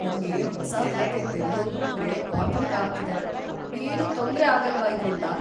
ನಂಗೆ ಹೊಸ ಖಾತೆ ತೆರೆಯೋದೂಂದ್ರೆ ಆತಂಕ ಆಗ್ತಿದೆ. ಏನೂ ತೊಂದ್ರೆ ಆಗಲ್ವಾ ಇದ್ರಿಂದ?